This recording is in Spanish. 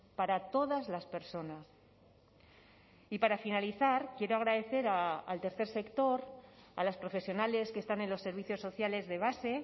para todas las personas y para finalizar quiero agradecer al tercer sector a las profesionales que están en los servicios sociales de base